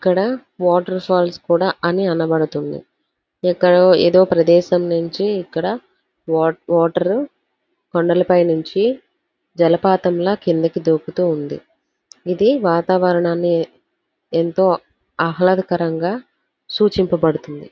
ఇక్కడ water falls కూడా అని అనబడుతుంది. ఎక్కడో ఏదో ప్రదేశం నుండి ఇక్కడ వాటర్ కొండలపై నుండి జలపాతంలో కిందికి దూకుతూ ఉంది. ఇది వాతావరణాన్ని ఎంతో ఆహ్లాదకరంగా సూచించబడుతుంది.